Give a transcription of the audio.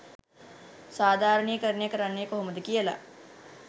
සාධාරණීකරණය කරන්නෙ කොහොමද කියලා.